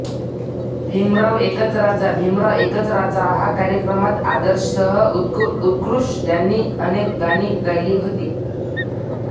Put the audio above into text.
भीमराव एकच राजा भीमराव एकच राजा हा कार्यक्रमात आदर्शसह उत्कृर्ष यांनी अनेक गाणी गायली होती